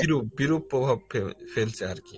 বিরূপ বিরূপ প্রভাব ফেল ফেলছে আরকি